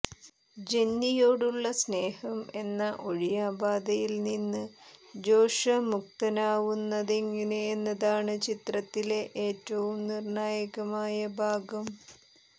ജെന്നിയോടുള്ള സ്നേഹം എന്ന ഒഴിയാബാധയിൽ നിന്ന് ജോഷ്വ മുക്തനാവുന്നതെങ്ങിനെ എന്നതാണ് ചിത്രത്തിലെ ഏറ്റവും നിർണായകമായ ഭാഗം